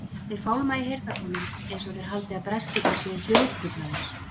Þeir fálma í heyrnartólin einsog þeir haldi að brestirnir séu hljóðtruflanir.